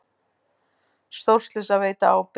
Stórslys að veita ábyrgð